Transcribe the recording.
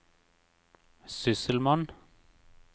sysselmann